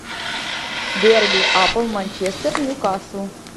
дерби апл манчестер ньюкасл